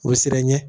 O siran ɲɛ